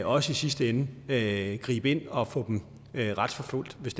også i sidste ende med at gribe ind og få dem retsforfulgt hvis